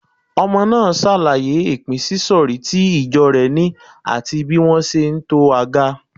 Ọmọ náà ṣàlàyé ìpínsísọ̀rí tí ìjọ rẹ̀ ni àti bí wọ́n ṣe ń to aga.